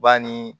Ba ni